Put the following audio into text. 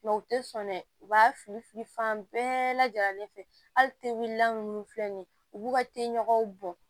u tɛ sɔn dɛ u b'a fili fili fan bɛɛ lajɛlen fɛ hali tegilan minnu filɛ nin ye u b'u ka teli ɲɔgɔn bɔn